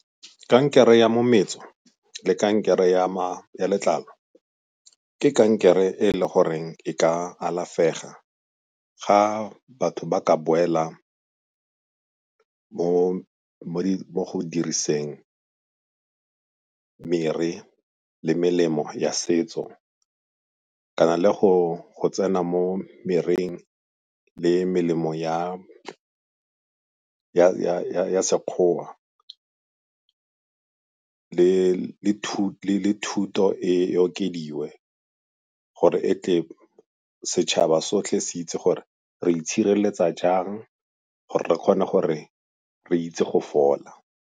Kankere ya le kankere ya letlalo ke kankere e e le goreng e ka alafega ga batho ba ka boela mo go diriseng mere le melemo ya setso kana le go tsena mo mereng le melemo ya Sekgowa le thuto e okediwe gore e tle setšhaba sotlhe se itse gore re itshireletsa jang gore re kgone gore re itse go fola.